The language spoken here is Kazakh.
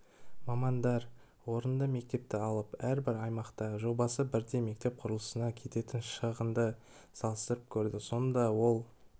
мамандар орынды мектепті алып әрбір аймақта жобасы бірдей мектеп құрылысына кететін шығынды салыстырып көрді сонда ол